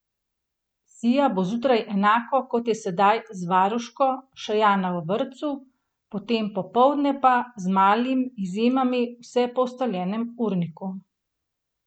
Sija bo zjutraj enako, kot je sedaj, z varuško, Šajana v vrtcu, potem popoldne pa, z malimi izjemami, vse po ustaljenem urniku.